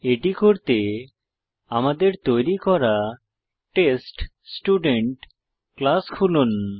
এটি করতে আমাদের তৈরী করা টেস্টস্টুডেন্ট ক্লাস খুলুন